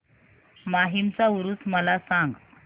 माहीमचा ऊरुस मला सांग